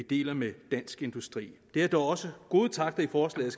deler med dansk industri der er dog også gode takter i forslaget